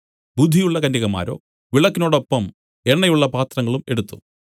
ബുദ്ധിയുള്ള കന്യകമാരോ വിളക്കിനോടൊപ്പം എണ്ണയുള്ള പാത്രങ്ങളും എടുത്തു